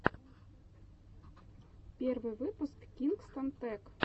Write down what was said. первый выпуск кингстон тэк